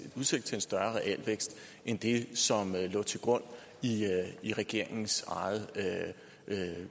udsigt til en større realvækst end det som lå til grund i regeringens eget